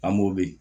An b'o yii